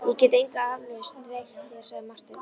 Ég get enga aflausn veitt þér, sagði Marteinn.